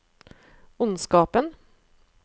ondskapen